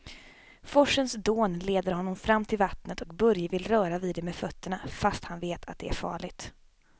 Forsens dån leder honom fram till vattnet och Börje vill röra vid det med fötterna, fast han vet att det är farligt.